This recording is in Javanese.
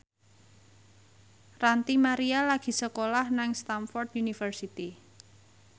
Ranty Maria lagi sekolah nang Stamford University